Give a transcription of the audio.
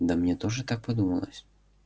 да мне тоже так подумалось